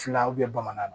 Fila bamananw